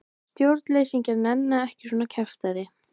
Stjórnleysingjar nenna ekki svona kjaftæði.